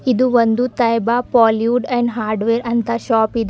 ಇದು ಒಂದು Taiba plywood and hardware ಅಂತ ಶಾಪ್ ಇದೆ.